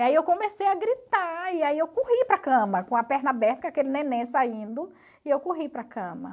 Aí eu comecei a gritar e aí eu corri para a cama com a perna aberta com aquele neném saindo e eu corri para a cama.